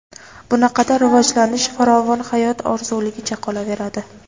Bunaqada rivojlanish, farovon hayot orzuligicha qolaveradi.